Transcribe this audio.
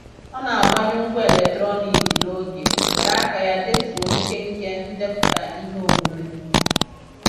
Ọ na-agbanyụ ngwá eletrọniik n'oge were aka ya detuo nkenke ndepụta iheomume.